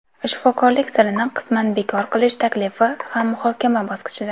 Shifokorlik sirini qisman bekor qilish taklifi ham muhokama bosqichida.